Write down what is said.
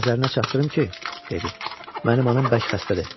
Nəzərinə çatdırım ki, dedi, mənim anam bərk xəstədir.